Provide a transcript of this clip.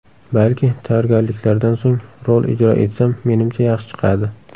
Balki, tayyorgarliklardan so‘ng rol ijro etsam, menimcha yaxshi chiqadi.